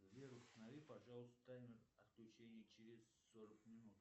сбер установи пожалуйста таймер отключения через сорок минут